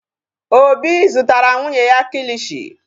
Obi zụtara nwunye ya kilishi.